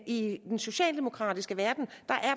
i den socialdemokratiske verden